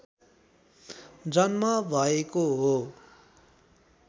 जन्म भएको हो